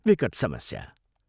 विकट समस्या!